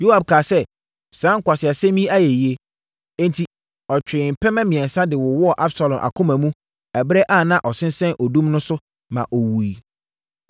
Yoab kaa sɛ, “Saa nkwaseasɛm yi ayɛ yie.” Enti, ɔtwee mpɛmɛ mmiɛnsa de wowɔɔ Absalom akoma mu ɛberɛ a na ɔsensɛn odum no so a na ɔnwuiɛ no.